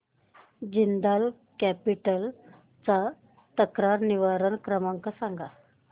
Jindal capital चा तक्रार निवारण क्रमांक सांग